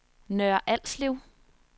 Nørre Alslev